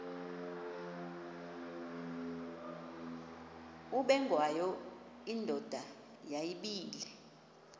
ubengwayo indoda yayibile